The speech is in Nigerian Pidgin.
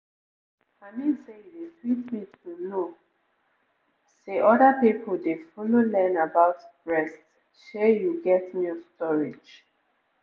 i mean say e dey sweet me to know say other people dey follow learn about breast shey you get milk storage